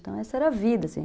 Então, essa era a vida, assim.